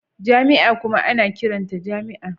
Jami'a kuma ana ƙiranta jami'a